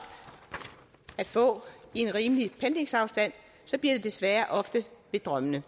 at få i en rimelig pendlingsafstand bliver det desværre ofte ved drømmene